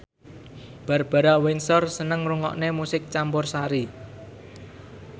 Barbara Windsor seneng ngrungokne musik campursari